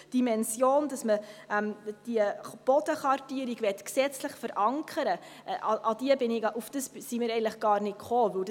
Die Dimension, dass man diese Bodenkartierung gesetzlich verankern will, darauf sind wir gar nicht gekommen.